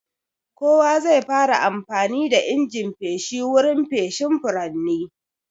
Kowa zai fara amfani da injin feshi wurin feshin furanni.